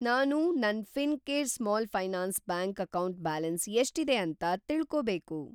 ನಾನು ನನ್‌ Fincare small finance bank account balance ಎಷ್ಟಿದೆ ಅಂತ ತಿಳ್ಕೋಬೇಕು.